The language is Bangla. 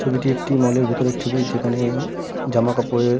ছবিটি একটি মল এর ভেতরের ছবি যেখানে জামা কাপড়ের --